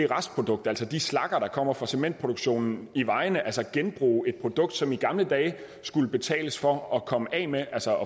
restproduktet altså de slagger der kommer fra cementproduktionen i vejene altså genbruge et produkt som man i gamle dage skulle betale for at komme af med altså